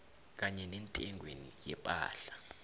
kanye nentengweni yephahla